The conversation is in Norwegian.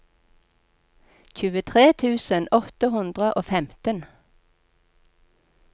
tjuetre tusen åtte hundre og femten